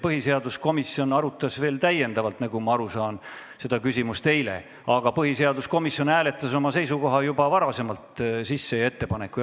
Põhiseaduskomisjon arutas, nagu ma aru saan, seda küsimust veel ka eile, aga oma seisukoha ja ettepaneku üle hääletati juba varem.